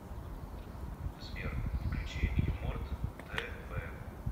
сбер включи юморт тэ вэ